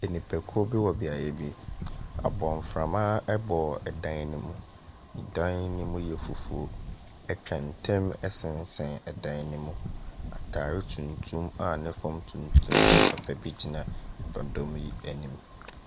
Nipakuo bi wɔ beaeɛ bi. Abɔnframa bɔ no mu. Dan no mu yɛ fufuo. Atwantɛn sesɛn dan no mu, atadeɛ tuntum a ne fam tuntum hyɛ papa bi gyina ɛdɔm yi anim.